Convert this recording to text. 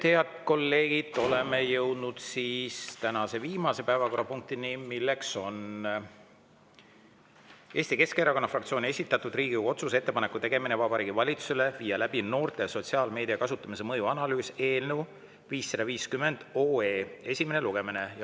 Head kolleegid, oleme jõudnud tänase viimase päevakorrapunktini: Eesti Keskerakonna fraktsiooni esitatud Riigikogu otsuse "Ettepaneku tegemine Vabariigi Valitsusele viia läbi noorte sotsiaalmeedia kasutamise mõju analüüs" eelnõu 550 esimene lugemine.